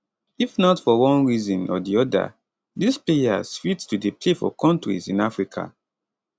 if not for one reason or di oda dis players fit to dey play for kontris in africa